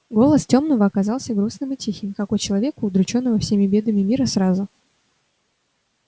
голос тёмного оказался грустным и тихим как у человека удручённого всеми бедами мира сразу